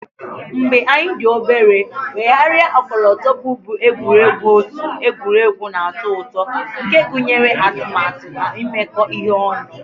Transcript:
Mgbe anyị dị obere, Weghara ọkọlọtọ bụbu egwuregwu otu egwuregwu na-atọ ụtọ nke gụnyere atụmatụ na imekọ ihe ọnụ